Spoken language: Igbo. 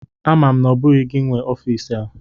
Ama m na ọ bụghị gị nwe n'ọfịs a.